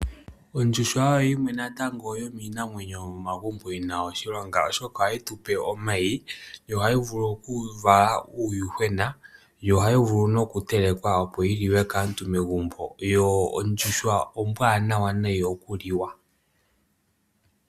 Ondjuhwa oyo yimwe natango yomiinamwenyo yo momagumbo yi na oshilonga, oshoka ohayi tu pe omayi. Yo ohayi vulu okuvala uuyuhwena, yo ohayi vulu nokutelekwa opo aantu ya lye megumbo. Yo ondjuhwa ombwaanawa nayi okuliwa.